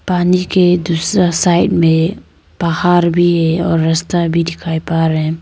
पानी के दूसरा साइड में पहार भी है और रस्ता भी दिखाई पा रहे --